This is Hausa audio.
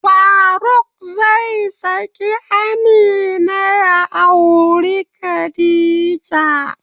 Faruk zai saki Amina ya auri Khadija.